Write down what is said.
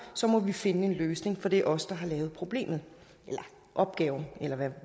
så må vi finde en løsning for det er os der har lavet problemet eller opgaven eller